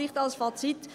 Vielleicht als Fazit: